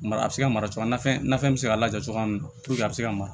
Mara a bɛ se ka mara cogoya min na fɛn bɛ se ka lajɔ cogoya min na a bɛ se ka mara